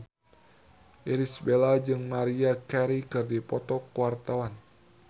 Irish Bella jeung Maria Carey keur dipoto ku wartawan